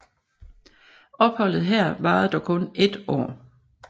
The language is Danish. Opholdet her varede dog kun ét år